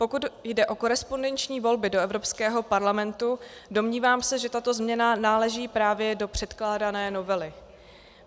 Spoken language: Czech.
Pokud jde o korespondenční volby do Evropského parlamentu, domnívám se, že tato změna náleží právě do předkládané novely.